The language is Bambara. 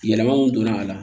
Yɛlɛma mun donna a la